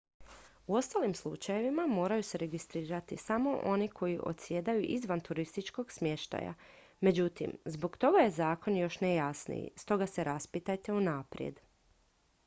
u ostalim slučajevima moraju se registrirati samo oni koji odsjedaju izvan turističkog smještaja međutim zbog toga je zakon još nejasniji stoga se raspitajte unaprijed